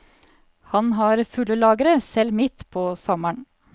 Han har fulle lagre selv midt på sommeren.